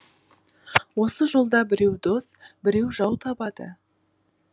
осы жолда біреу дос біреу жау табады